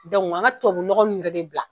an ka tubabunɔgɔ ninnu bɛɛ de bila.